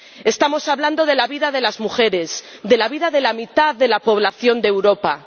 Estamos hablando de la vida de las mujeres, de la vida de la mitad de la población de Europa.